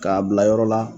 K'a bila yɔrɔ la